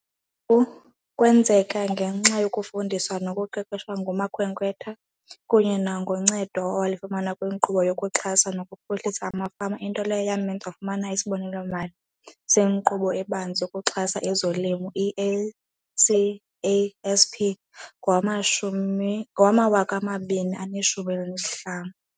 Kwenzeka ngenxa yokufundiswa nokuqeqeshwa ngumakhwekhwetha kunye nangoncedo awalifumana kwiNkqubo yokuXhasa nokuPhuhlisa amaFama, into leyo yamenza wafumana isibonelelo-mali seNkqubo eBanzi yokuXhasa ezoLimo, i-CASP, ngowama-2015.